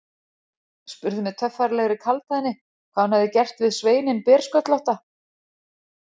Spurði með töffaralegri kaldhæðni hvað hún hefði gert við sveininn bersköllótta.